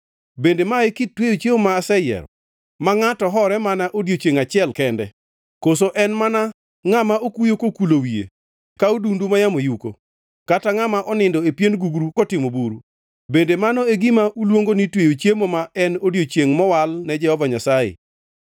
Bende ma e kit tweyo chiemo ma aseyiero, ma ngʼato hore mana odiechiengʼ achiel kende? Koso en mana ka ngʼama okuyo kokulo wiye ka odundu mayamo yuko kata ngʼama onindo e pien gugru kotimo buru? Bende mano e gima uluongo ni tweyo chiemo ma en odiechiengʼ mowal ne Jehova Nyasaye.